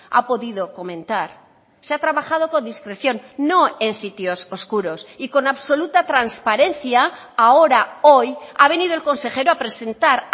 ha podido comentar se ha trabajado con discreción no en sitios oscuros y con absoluta transparencia ahora hoy ha venido el consejero a presentar